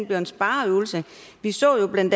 bliver en spareøvelse vi så jo bla